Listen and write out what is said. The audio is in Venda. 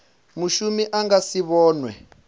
mushumi a nga si vhonwe